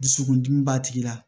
Dusukundimi b'a tigi la